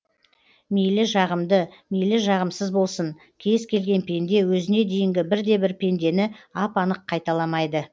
мейлі жағымды мейлі жағымсыз болсын кез келген пенде өзіне дейінгі бірде бір пендені ап анық қайталамайды